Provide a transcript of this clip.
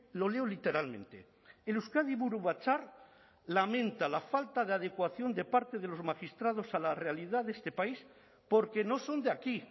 lo leo literalmente el euskadi buru batzar lamenta la falta de adecuación de parte de los magistrados a la realidad de este país porque no son de aquí